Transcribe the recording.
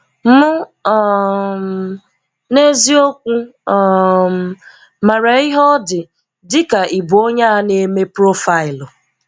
M um n’eziokwu um maara ihe ọ dị dị ka ịbụ onye a na-eme profaịlụ.